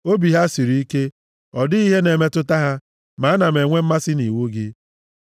Obi ha siri ike, ọ dịghị ihe na-emetụta ha, ma ana m enwe mmasị nʼiwu gị.